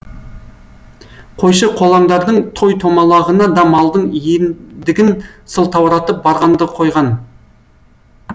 қойшы қолаңдардың той томалағына да малдың иендігін сылтауратып барғанды қойған